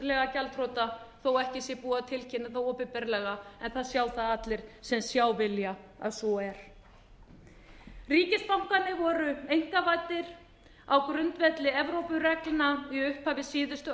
fjárhagslega gjaldþrota þó ekki sé búið að tilkynna það opinberlega en það sjá það allir sem sjá vilja að svo er ríkisbankarnir voru einkavæddir á grundvelli evrópureglna í upphafi síðustu